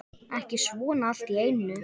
Ekki svona allt í einu.